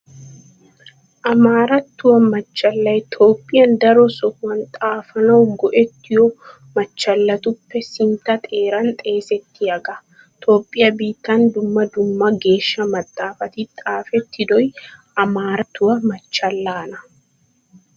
Amaarattuwaa machchallay Toophphiyan daro sohuwan xaafanawu go'ettiyo machchalatuppe sintta xeeran xeesettiyagaa. Toophphiya biittan dumma dumma geeshsha maxaafati xaafettidoy Amaarattuwaa machchallaana.